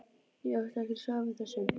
Ég átti ekkert svar við þessu.